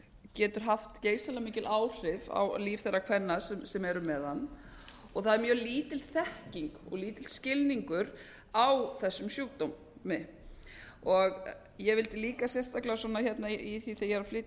getur haft geysilega mikil áhrif á líf þeirra kvenna sem eru með hann og það er mjög lítil þekking og lítill skilningur á þessum sjúkdómi ég vildi líka sérstaklega í því sem ég er að